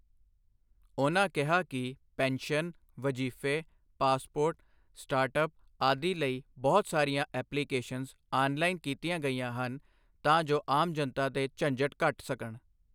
ਉਨ੍ਹਾਂ ਕਿਹਾ ਕਿ ਪੈਨਸ਼ਨ, ਵਜ਼ੀਫ਼ੇ, ਪਾਸਪੋਰਟ, ਸਟਾਰਟ ਅੱਪ ਆਦਿ ਲਈ ਬਹੁਤ ਸਾਰੀਆਂ ਐਪਲੀਕੇਸ਼ਨਜ਼ ਆੱਨਲਾਈਨ ਕੀਤੀਆਂ ਗਈਆਂ ਹਨ, ਤਾਂ ਜੋ ਆਮ ਜਨਤਾ ਦੇ ਝੰਜਟ ਘਟ ਸਕਣ।